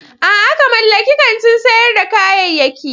A'a! ka mallaki kantin sayar da kayayyaki.